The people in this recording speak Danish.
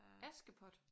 Askepot?